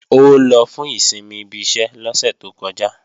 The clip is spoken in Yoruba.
Ó lọ fún ìsinmi ibi iṣẹ́ lọ́sẹ̀ tó kọjá